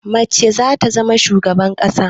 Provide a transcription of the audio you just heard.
Mace za ta zama shugaban ƙasa.